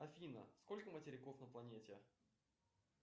афина сколько материков на планете